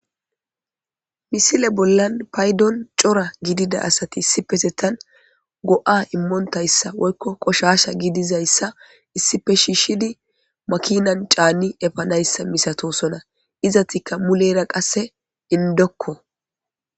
misile bollan paydon cora gidida asati issipesetan go7a immontayssa woykko qoshasha gidizayssa issipe shiishidi makinan caani efanayssa misatosona izatikka mulera qasse indokko